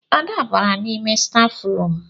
Ada bara n'ime stafrum